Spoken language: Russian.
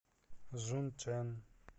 жунчэн